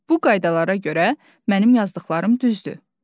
Bu qaydalara görə mənim yazdıqlarım düzdür.